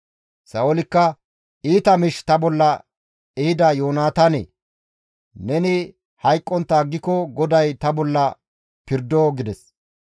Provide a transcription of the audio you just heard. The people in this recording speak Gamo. Sa7oolikka, «Iita miish ta bolla ehida Yoonataanee! Neni hayqqontta aggiko GODAY ta bolla pirdo» gides.